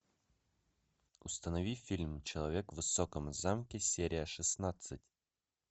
установи фильм человек в высоком замке серия шестнадцать